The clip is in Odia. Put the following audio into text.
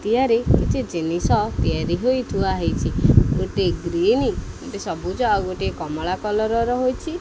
କିଛି ଜିନିଷ ତିଆରି ହେଇ ଥୁଆ ହୋଇଛି ଗୋଟିଏ ଗ୍ରୀନ୍ ଗୋଟିଏ ସବୁଜ ଆଉ ଗୋଟିଏ କମଳା କଲର ହୋଇଅଛି।